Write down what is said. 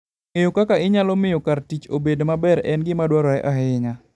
Ng'eyo kaka inyalo miyo kar tich obed maber en gima dwarore ahinya.